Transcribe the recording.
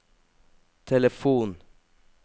telefon